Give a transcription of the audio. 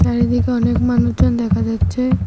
চারিদিকে অনেক মানুচজন দেখা যাচ্ছে।